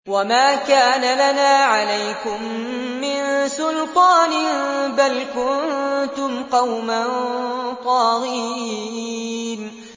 وَمَا كَانَ لَنَا عَلَيْكُم مِّن سُلْطَانٍ ۖ بَلْ كُنتُمْ قَوْمًا طَاغِينَ